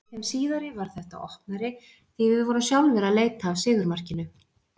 Í þeim síðari varð þetta opnari, því við vorum sjálfir að leita af sigurmarkinu.